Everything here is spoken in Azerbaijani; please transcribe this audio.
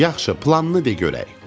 Yaxşı, planını de görək.